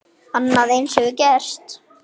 Annað eins hefur gerst.